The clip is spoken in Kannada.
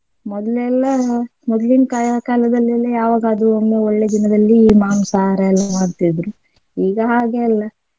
ಮೊದ್ಲೆಲ್ಲಾ ಮೊದ್ಲಿನ ಕಾ~ ಕಾಲದಲ್ಲೆಲ್ಲಾ ಯಾವಾಗಾದ್ರೂ ಒಮ್ಮೆ ಒಳ್ಳೆ ದಿನದಲ್ಲಿ ಮಾಂಸಹಾರ ಎಲ್ಲ ಮಾಡ್ತಿದ್ರು ಈಗ ಹಾಗೇ ಅಲ್ಲಾ.